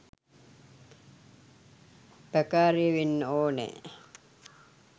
පකාරය වෙන්න ඕනෙ.